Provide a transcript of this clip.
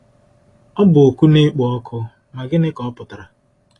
Ọ bụ oku na-ekpo ọkụ, ma gịnị ka ọ pụtara?